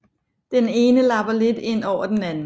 Den ene lapper lidt ind over den anden